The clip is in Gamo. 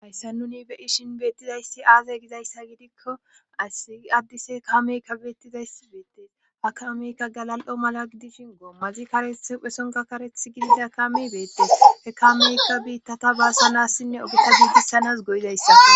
hayssa nuni beyishin beettizayssi aaze gizayssa gidikko asi addise kameykka beettizayssi beettes ha kameykka galal7o mala gidishin goommazi kareth hphesonka kareth gidida kaame beettees he kameykka biittata baasanassinne ogeta gidissanas goyizayssa